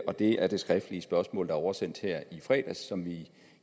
og det er det skriftlige spørgsmål der er oversendt i fredags som